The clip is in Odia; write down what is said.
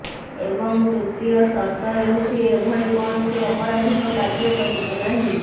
ଏବଂ ତୃତୀୟ ସର୍ତ୍ତ ହେଉଛି ଏଭଳି କୌଣସି ଅପରାଧୀକ କାର୍ଯ୍ୟ କରିବେ ନାହିଁ